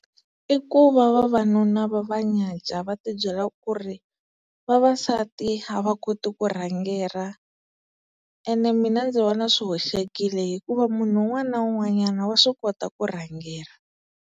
I ku va vavanuna va va nyadya va ti byela ku ri vavasati a va koti ku rhangera ene mina ndzi vona swi hoxekile hikuva munhu un'wana na un'wanyana wa swi kota ku rhangela.